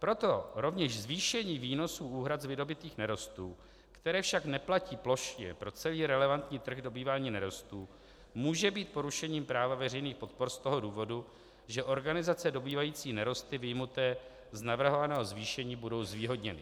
Proto rovněž zvýšení výnosů úhrad z vydobytých nerostů, které však neplatí plošně pro celý relevantní trh dobývání nerostů, může být porušením práva veřejných podpor z toho důvodu, že organizace dobývající nerosty vyjmuté z navrhovaného zvýšení budou zvýhodněny."